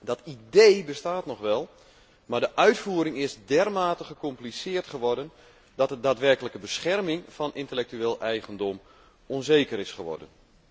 Dat idee bestaat nog wel, maar de uitvoering is dermate gecompliceerd geworden, dat de daadwerkelijke bescherming van intellectueel eigendom onzeker is geworden.